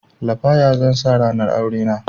Lafaya zan sa ranar aurena